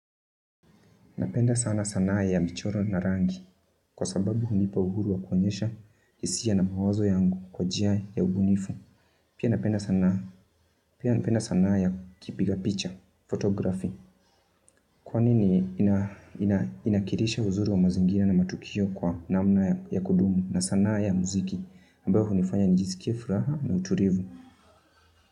Napenda sana sanaa ya michoro na rangi, kwa sababu hunipa uhuru wa kuoenyesha hisia na mawazo yangu kwa njia ya ubunifu. Pia napenda sanaa ya kipiga picha, photography. Kwa ni ni inanakilisha uzuri wa mazingira na matukio kwa namna ya kudumu na sanaa ya mziki. Ambayo hunifanya nijisikie furaha na utulivu.